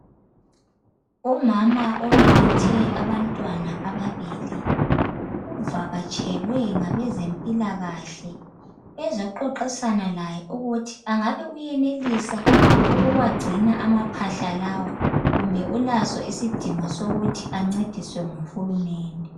Umama obelethe abantwana ababili uvakatshelwe ngabezempilakahle. Bezexoxisana laye ukuthi angabe uyenelisa ukuwagcina amaphahla lawa kumbe ulaso isidingo sokuthi ancediswe nguHulumende.